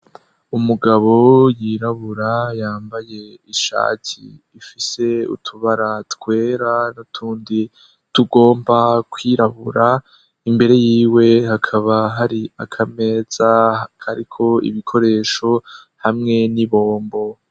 Umugabo yirabura yambaye ishati ifise utubara twera n'utundi tugomba kwirabura, imbere y'iwe hakaba hari akameza kariko ibikoresho hamwe n'ibombo.